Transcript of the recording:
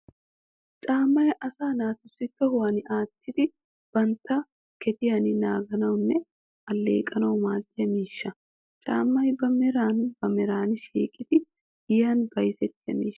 Caamay asaa naatussi tohuwan attidi bantta gediyaa naaganawunne alleeqanawu maadiyaa miishsha. Caamay ba meran ba meran shiiqidi giyan bayzzetiyaa miishsha.